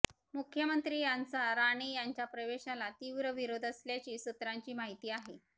मुख्यमंत्री यांचा राणे यांच्या प्रवेशाला तीव्र विरोध असल्याची सूत्रांची माहिती आहे